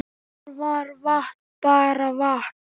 Þar var vatn bara vatn.